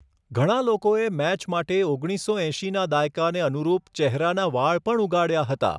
ઘણા લોકોએ મેચ માટે ઓગણીસસો એંશીના દાયકાને અનુરૂપ ચહેરાના વાળ પણ ઉગાડ્યા હતા.